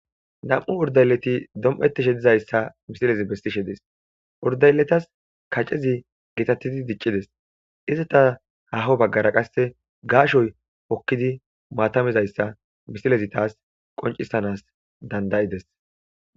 Nam,u urdayleti dom7etishe dizayssa misilezi bestishe dis urdayletas kacezi geetattidi diccides izita haho baggara qasse gaashoy hokkidi maatamizayssa misilezi taas qoncisanas dandayides.